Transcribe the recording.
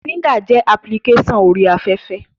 Tinder jẹ́ apilikéṣọ̀n orí afẹ́fẹ́